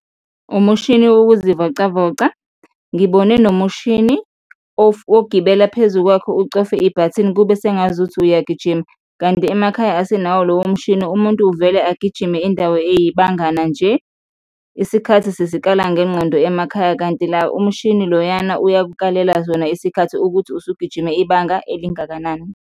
Umushini wokuzivocavoca, ngibone nomushini ogibela phezu kwakho ucofe ibhathini, kube sengazuthi uyagijima, kanti emakhaya asinawo lowo mshini, umuntu uvele agijime indawo eyibangana nje, isikhathi sisikala ngengqondo emakhaya kanti la umushini loyana uyakukalela sona isikhathi ukuthi usugijime ibanga elingakanani.